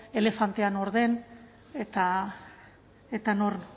elefantea nor den eta